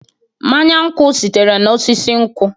Mmanya nkwọ sitere n'osisi nkwọ.